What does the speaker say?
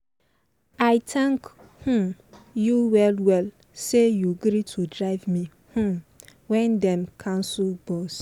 i thank um you well well say you gree to drive me um when dem cancel bus.